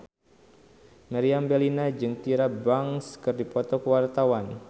Meriam Bellina jeung Tyra Banks keur dipoto ku wartawan